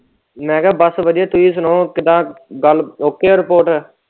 ਮੈਂ ਕਿਹਾ ਬਸ ਵਧੀਆ ਤੁਹੀਂ ਸੁਣਾਓ ਕਿੱਦਾ ਡਨ ਓਕੇ ਏ ਰਿਪੋਟ।